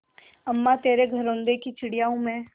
अम्मा तेरे घरौंदे की चिड़िया हूँ मैं